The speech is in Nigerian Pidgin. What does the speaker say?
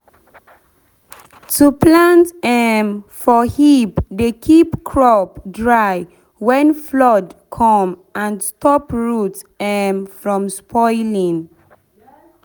to plant um for heap dey keep crop dry when flood come and stop root um from spoiling.